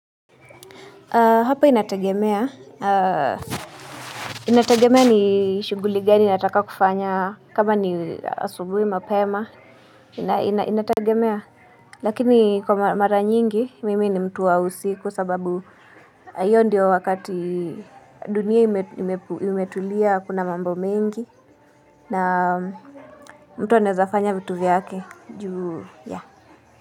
Hapa inatagemea, inatagemea ni shughuli gani nataka kufanya kama ni asubuhi mapema, inatagemea. Lakini kwa mara nyingi, mimi ni mtu wa usiku sababu hiyo ndiyo wakati dunia imetulia hakuna mambo mengi na mtu anawezafanya vitu viyake juu ya.